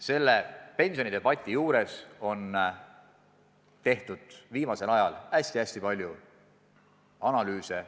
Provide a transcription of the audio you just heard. Selle pensionidebatiga seoses on viimasel ajal tehtud hästi-hästi palju analüüse.